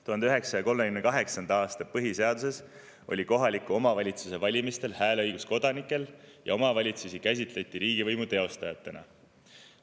1938. aasta põhiseaduse järgi oli kohaliku omavalitsuse valimistel hääleõigus kodanikel ja omavalitsusi käsitleti riigivõimu teostajana.